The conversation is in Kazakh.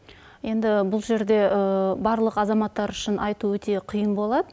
енді бұл жерде барлық азаматтар үшін айту өте қиын болады